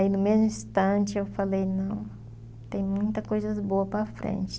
no mesmo instante, eu falei, não, tem muita coisas boa para frente.